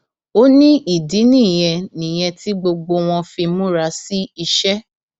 ó ní ìdí nìyẹn nìyẹn tí gbogbo wọn fi múra sí iṣẹ